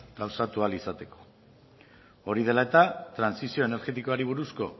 gauza ahal izateko hori dela eta trantsizio energetikoari buruzko